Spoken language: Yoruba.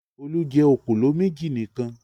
Olú jẹ òkòló méjì nìkan.